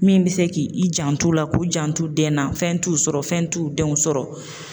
Min bɛ se k'i i jant'u la, k'u jant'u den na, fɛn t'u sɔrɔ, fɛn t'u denw sɔrɔ.